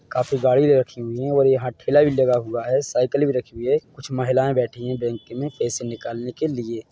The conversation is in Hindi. काफी गाड़ी रखी हुई है ओर यहाँ ठेला भी लगा हुआ है साइकिल भी रखी हुई है कुछ महिलाए ब बैठी है बैंक में पैसे निकालने के लिए--